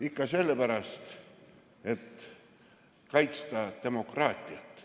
Ikka sellepärast, et kaitsta demokraatiat.